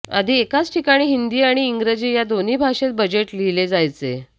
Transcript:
आधी एकाच ठिकाणी हिंदी आणि इंग्रजी ह्या दोन्ही भाषेत बजेट लिहिले जायचे